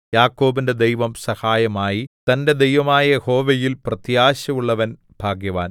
യാക്കോബിന്റെ ദൈവം സഹായമായി തന്റെ ദൈവമായ യഹോവയിൽ പ്രത്യാശയുള്ളവൻ ഭാഗ്യവാൻ